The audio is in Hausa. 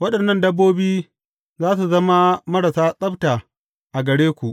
Waɗannan dabbobi za su zama marasa tsabta a gare ku.